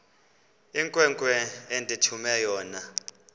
inkwenkwe endithume yona